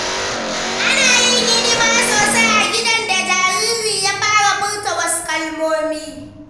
Ana yin hidima sosai a gidan da jariri ya fara furta wasu kalmomi.